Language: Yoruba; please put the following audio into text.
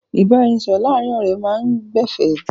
Ìbáranisọ̀rọ̀ láàárin ọ̀rẹ́ máa ń gbẹ̀fẹ̀.